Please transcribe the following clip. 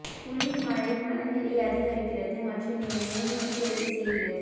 குளிர் மழை மனநிலை அதிகரிக்கிறது மற்றும் நீங்கள் மேலும் எச்சரிக்கை செய்கிறது